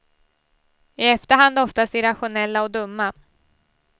I efterhand oftast irrationella och dumma.